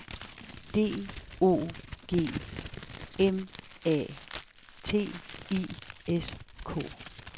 D O G M A T I S K